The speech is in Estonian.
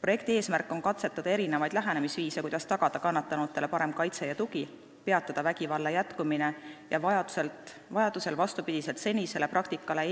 Projekti eesmärk on katsetada erinevaid lähenemisviise, kuidas tagada kannatanutele parem kaitse ja tugi, peatada vägivalla jätkumine ja vajadusel eemaldada vastupidi senisele praktikale